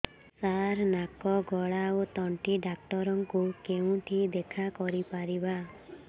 ସାର ନାକ ଗଳା ଓ ତଣ୍ଟି ଡକ୍ଟର ଙ୍କୁ କେଉଁଠି ଦେଖା କରିପାରିବା